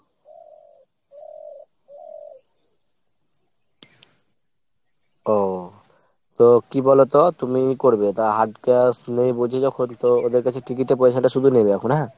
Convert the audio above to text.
ওহ। তো কি বলোতো তুমি ই করবে তা hard cash লেই বলছে যখন তো ওদের কাছে ticket এর পয়সাটা শুধু নেবে এখন হ্যাঁ ?